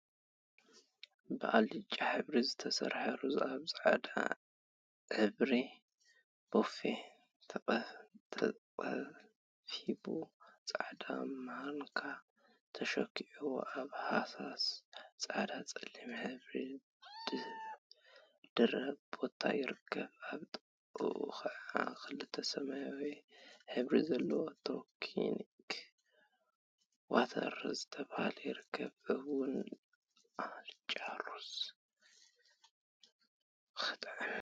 ብአልጫ ሕብሪ ዝተሰርሐ ሩዝ አብ ፃዕዳ ሕብሪ ቦፌ ተቀፊቡ ፃዕዳ ማንካ ተሰኪዕዋ አብ ሃሳስ ፃዕዳን ፀሊምን ሕብሪ ድሕረ ባይታ ይርከብ፡፡ አብ ጥቅኡ ከዓ ክልተ ሰማያዊ ሕብሪ ዘለዎ ቶኒክ ዋተር ዝበሃል ይርከቡ፡፡ እዋይ አልጫ ሩዝ ክጥዕም!